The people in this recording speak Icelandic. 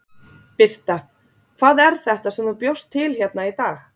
Birta: Hvað er þetta sem þú bjóst til hérna í dag?